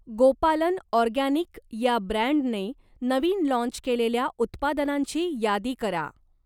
गोपालन organic या ब्रँडने नवीन लाँच केलेल्या उत्पादनांची यादी करा?